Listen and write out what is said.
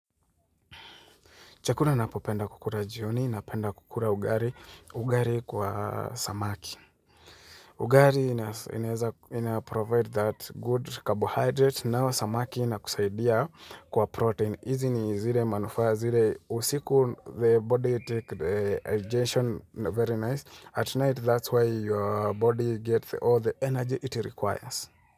Chakula napopenda kukura jioni na penda kukura ugari, ugari kwa samaki. Ugari ina provide that good carbohydrate nao samaki ina kusaidia kwa protein. Izi ni zile manufaa zile usiku the body take the digestion very nice. At night that's why your body gets all the energy it requires.